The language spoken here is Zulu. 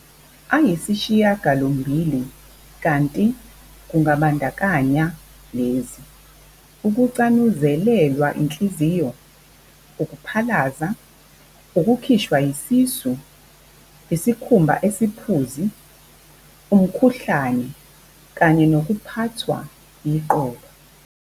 ayisishiyagalombili kanti kungabandakanya lezi- ukucanuzelelwa yinhliziyo, ukuphalaza, ukukhishwa yisisu, isikhumba esiphuzi, umkhuhlane, kanye nokuphathwa yiqolo.